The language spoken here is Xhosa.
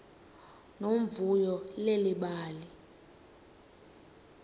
nomvuyo leli bali